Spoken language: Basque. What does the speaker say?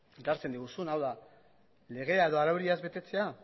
ekartzen diguzun hau da legea edo araudia ez betetzea